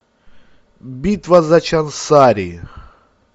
битва за чансари